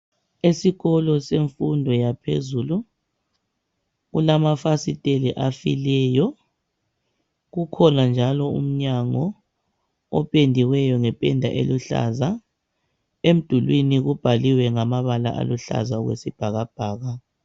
Esikolo semfundo yaphezulu kulama fasiteli afileyo, kukhona njalo umnyango opendiweyo ngependa eluhlaza. Emdulwini kubhaliwe ngamabala aluhlaza okwesibhakabhaka.